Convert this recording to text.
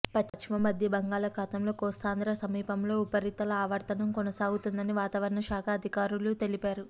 పశ్చిమ మధ్య బంగాళాఖాతంలో కోస్తాంధ్ర సమీపంలో ఉపరితల ఆవర్తనం కొనసాగుతోందని వాతావరణ శాఖ అధికారులు తెలిపారు